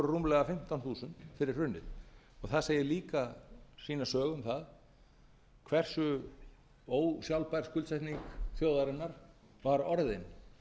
rúmlega fimmtán þúsund fyrir hrunið það segir líka sína sögu um það hversu ósjálfbær skuldsetning þjóðarinnar var orðin